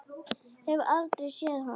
Hef aldrei séð hann.